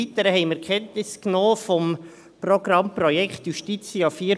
Weiter haben wir Kenntnis genommen vom Projekt «Justitia 4.0».